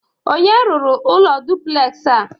Onye rụrụ ụlọ dụpụlexị a?